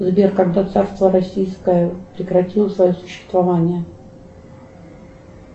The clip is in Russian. сбер когда царство российское прекратило свое существование